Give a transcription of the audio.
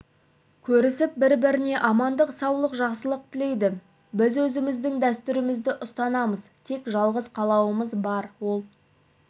көрісіп бір-біріне амандық саулық жақсылық тілейді біз өзіміздің дәстүрімізді ұстанамыз тек жалғыз қалауымыз бар ол